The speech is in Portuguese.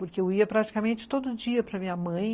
Porque eu ia praticamente todo dia para minha mãe,